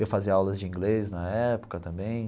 Eu fazia aulas de inglês na época também.